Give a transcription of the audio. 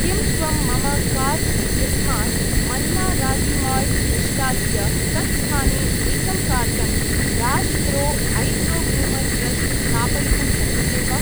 किं त्वं मम काार्ट् इत्यस्मात् मन्ना रागी माल्ट् निष्कास्य तत्स्थाने एकं carton dash pro eyebrow groomer brush स्थापयितुं शक्यसे वा?